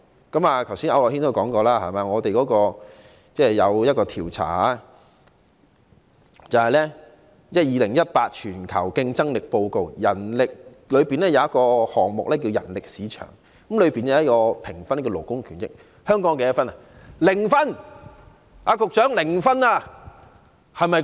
剛才區諾軒議員也曾提及，在2018年度的全球競爭力報告的其中一個項目是人力市場，當中有一項關於勞工權益的評分，香港的得分為何？